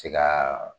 Se ka